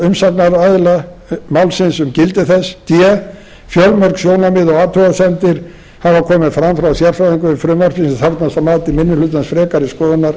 meðal umsagnaraðila málsins um gildi þess d fjölmörg sjónarmið og athugasemdir hafa komið fram frá sérfræðingum við frumvarpið sem þarfnast að mati minni hlutans frekari skoðunar